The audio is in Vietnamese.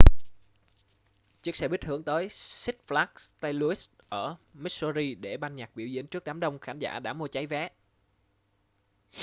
chiếc xe buýt hướng tới six flags st louis ở missouri để ban nhạc biểu diễn trước đám đông khán giả đã mua cháy vé